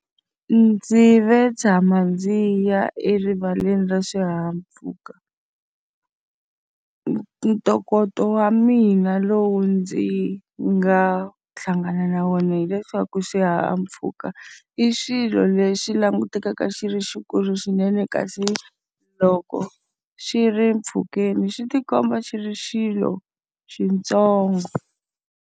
Ndzi ve tshama ndzi ya erivaleni ra swihahampfhuka. Ntokoto wa mina lowu ndzi nga hlangana na wona hileswaku xihahampfhuka i xilo lexi langutekaka xi ri xikulu swinene, kasi loko xi ri mpfhukeni xi ti komba xi ri xilo xintsongo.